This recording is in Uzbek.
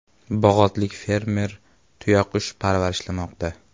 Bog‘otlik fermer tuyaqush parvarishlamoqda.